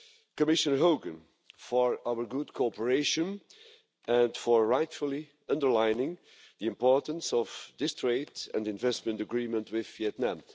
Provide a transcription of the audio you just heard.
Commissioner Hogan for our good cooperation and for rightfully underlining the importance of this trade and investment agreement with Vietnam.